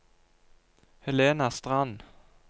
Helena Strand